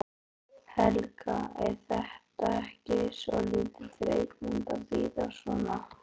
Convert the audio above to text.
Helga: Er þetta ekki svolítið þreytandi að bíða svona?